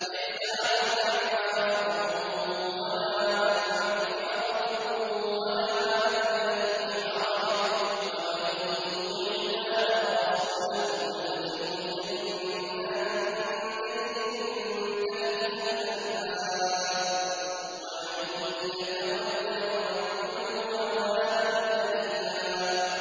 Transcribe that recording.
لَّيْسَ عَلَى الْأَعْمَىٰ حَرَجٌ وَلَا عَلَى الْأَعْرَجِ حَرَجٌ وَلَا عَلَى الْمَرِيضِ حَرَجٌ ۗ وَمَن يُطِعِ اللَّهَ وَرَسُولَهُ يُدْخِلْهُ جَنَّاتٍ تَجْرِي مِن تَحْتِهَا الْأَنْهَارُ ۖ وَمَن يَتَوَلَّ يُعَذِّبْهُ عَذَابًا أَلِيمًا